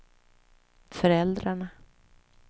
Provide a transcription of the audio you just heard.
föräldrarna